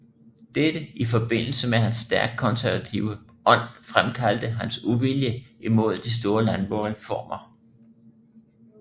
Dette i forbindelse med hans stærkt konservative ånd fremkaldte hans uvilje imod de store landboreformer